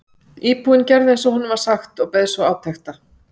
Íbúinn gerði eins og honum var sagt og beið svo átekta.